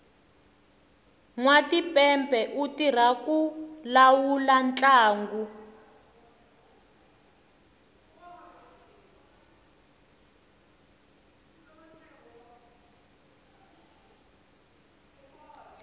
nwatipepe u tirha ku lawula ntlangu